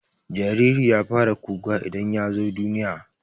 jariri ya fara kuka idan yazo duniya